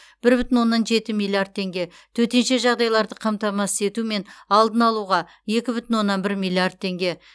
бір бүтін оннан жеті миллиард теңге төтенше жағдайларды қамтамасыз ету мен алдын алуға екі бүтін оннан бір миллиард теңге